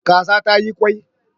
Kaza za ta yi kwai